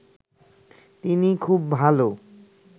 তিনি খুব ভালো